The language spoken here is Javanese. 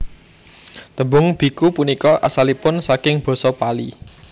Tembung biku punika asalipun saking basa Pali